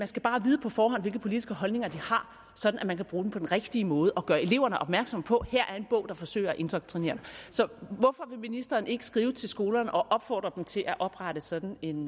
skal bare vide på forhånd hvilke politiske holdninger de har sådan at man kan bruge dem på den rigtige måde og gøre eleverne opmærksomme på at her er en bog der forsøger at indoktrinere så hvorfor vil ministeren ikke skrive til skolerne og opfordre dem til at oprette sådan en